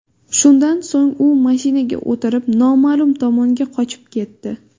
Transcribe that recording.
Shundan so‘ng u mashinaga o‘tirib, noma’lum tomonga qochib ketdi.